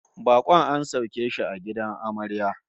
Bakon an sauke shi a gidan amarya